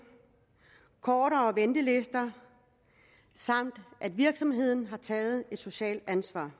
kortere ventelister samt at virksomheden har taget et socialt ansvar